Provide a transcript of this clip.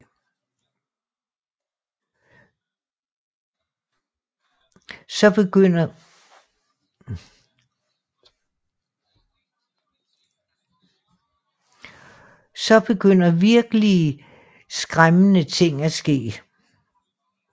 Så begynder virkelige skræmmende ting at ske